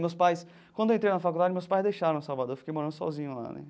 Meus pais, quando eu entrei na faculdade, meus pais deixaram Salvador, eu fiquei morando sozinho lá.